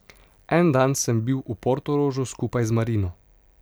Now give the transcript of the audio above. En dan sem bil v Portorožu skupaj z Marino.